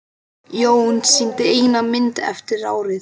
Jón sýndi eina mynd eftir árið.